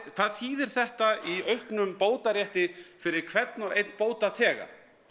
hvað þýðir þetta í auknum bótarétti fyrir hvern og einn bótaþega